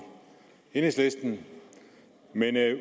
enhedslisten men